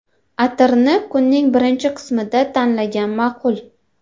Atirni kunning birinchi qismida tanlagan ma’qul.